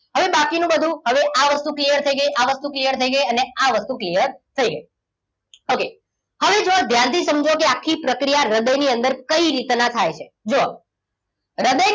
હવે બાકીનું બધું હવે આ વસ્તુ clear થઈ ગઈ આ વસ્તુ clear થઈ ગઈ અને આ વસ્તુ clear થઈ ગઈ okay હવે જુઓ ધ્યાનથી સમજો કે આખી પ્રક્રિયા હૃદય ની અંદર કઈ રીતે થાય છે જુઓ હૃદય